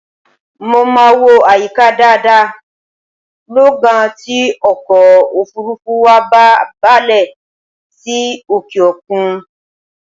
Mo máa wo àyíká dáadáa lọ́gán tí ọkọ̀ òfuurufú wa bá balẹ̀ sí òkè-òkun